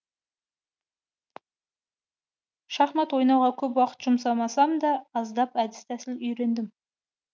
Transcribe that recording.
шахмат ойнауға көп уақыт жұмсамасам да аздап әдіс тәсіл үйрендім